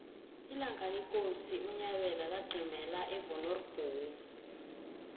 ilanga lekosi unyabela laqimela evonoribnomu